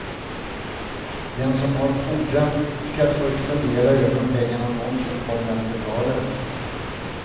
Den som har fordran skall först fundera över om pengarna nånsin kommer att betalas.